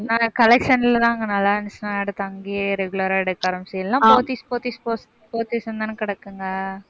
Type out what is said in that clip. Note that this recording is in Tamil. நாங்க collection லதான், அங்க நல்லா இருந்துச்சுன்னா எடுத்து அங்கேயே regular ஆ, எடுக்கற மாதிரி இல்லைனா போத்தீஸ் போத்தீஸ் போத்தீஸ்ன்னுதானே கிடக்குங்க?